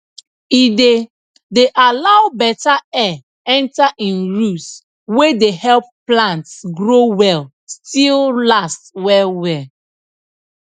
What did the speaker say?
e dey dey allow beta air enter im roots wey dey help plants grow well still last well well